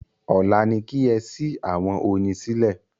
Ọ̀la ni kí ẹ sí àwọn oyin sílẹ̀